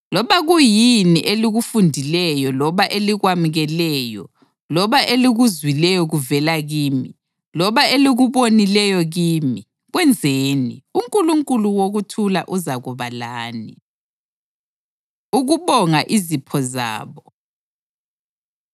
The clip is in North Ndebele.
Loba kuyini elikufundileyo loba elikwamukeleyo loba elikuzwileyo kuvela kimi, loba elikubonileyo kimi, kwenzeni. UNkulunkulu wokuthula uzakuba lani. Ukubonga Izipho Zabo